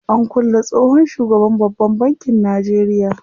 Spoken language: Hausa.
An kulle tsohon shugaban babban bankin Najeria.